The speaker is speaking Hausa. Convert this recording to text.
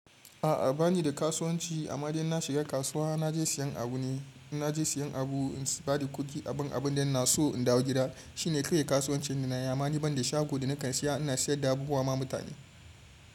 A'a banida kasuwanci amma dai inna shiga kasuwa naje siyan abune. Ina je siyan abu, in bada kuɗi aban abunda inaso in dawo gida. Shine kawai kasuwancin danayi. Ammani banda shago da nakan saya ina siyarda abubuwa ma mutane.